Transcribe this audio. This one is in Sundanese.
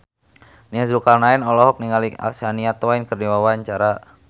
Nia Zulkarnaen olohok ningali Shania Twain keur diwawancara